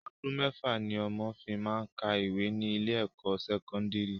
Ọdún mẹ́fà ni ọmọ fi máá ń ka ìwé ní ilé ẹ̀kọ́ sẹ́kọ́ndìrì